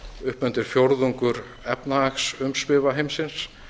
upp undir fjórðungur efnahagsumsvifa heimsins